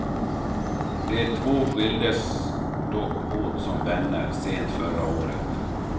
De två skildes dock åt som vänner sent förra året.